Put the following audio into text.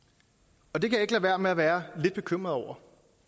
og det kan jeg ikke lade være med at være lidt bekymret over